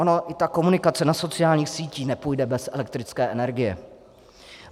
Ona i ta komunikace na sociálních sítích nepůjde bez elektrické energie.